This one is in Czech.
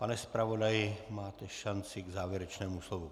Pane zpravodaji, máte šanci k závěrečnému slovu.